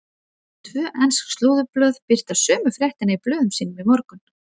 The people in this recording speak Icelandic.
Tvö ensk slúðurblöð birta sömu fréttina í blöðum sínum í morgun.